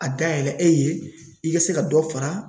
A dayɛlɛ e ye i ka se ka dɔ fara